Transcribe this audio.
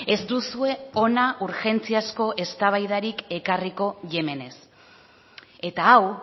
ez duzue hona urgentziazko eztabaidarik ekarriko yemenez eta hau